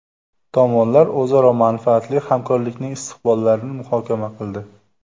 Tomonlar o‘zaro manfaatli hamkorlikning istiqbollarini muhokama qildi.